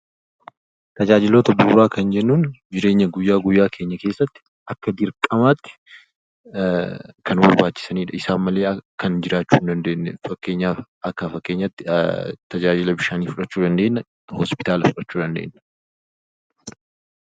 Tajaajiloota bu'uuraa kan jennun:- Jireenya keenya guyya guyyaa keessatti akka dirqamaatti kan nu barbaachisanidha, kan isaan malee jiraachuu hin dandeenyedha. Fakkeenyaaf, tajaajila bishaanii, hospitaala fudhachuu dandeenya.